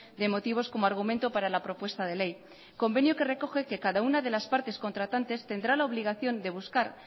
de motivos como argumento para la propuesta de ley convenio que recoge que cada una de las partes contratantes tendrá la obligación de buscar